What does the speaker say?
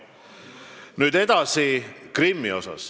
Nüüd edasi Krimmist.